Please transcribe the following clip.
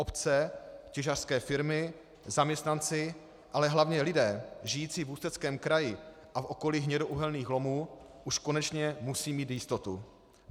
Obce, těžařské firmy, zaměstnanci, ale hlavně lidé žijící v Ústeckém kraji a v okolí hnědouhelných lomů už konečně musí mít jistotu.